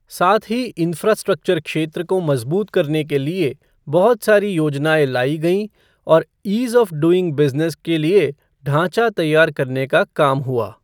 साथ ही इंफ़्रास्ट्रक्चर क्षेत्र को मजबूत करने के लिए बहुत सारी योजनाएं लाई गईं और ईज़ ऑफ़ डूइंग बिज़नेस के लिए ढांचा तैयार करने का काम हुआ।